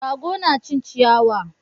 Rago na cin ciyawa